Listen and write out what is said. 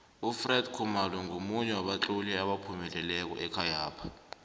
ufred khumalo ngomunye wabatloli abaphumeleleko ekhayapha